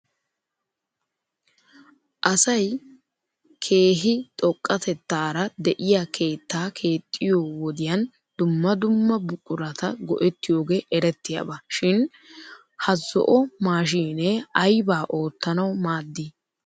Asay keehi xoqqatetaara de'iyaa keettaa keexxiyoo wodiyan dumma dumma buqurata go'ettiyoogee eretiyaaba shin ha zo'o maashiinee aybaa oottanaw maaddii ?